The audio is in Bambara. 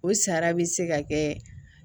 O sara bɛ se ka kɛ